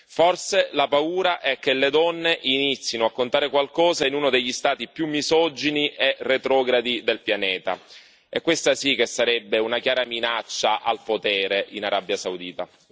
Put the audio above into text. Forse la paura è che le donne inizino a contare qualcosa in uno degli Stati più misogini e retrogradi del pianeta, e questa sì che sarebbe una chiara minaccia al potere in Arabia Saudita.